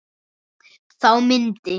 Þá myndi